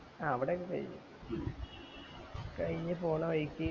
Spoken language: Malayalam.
ആ അവിടെ ഒക്കെ കൈഞ്ഞു കൈഞ്ഞ് പോണ വഴിക്ക്